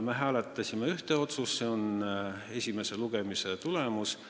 Me hääletasime ühte otsust, esimese lugemise tulemust.